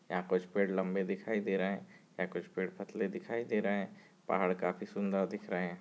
यहाँ कुछ पेड़ लम्बे दिखाई दे रहे हैं यहाँ कुछ पेड़ पतले दिखाई दे रहे हैं पहाड़ काफी सुंदर दिख रहे हैं।